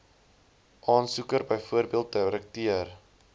aansoeker bv direkteur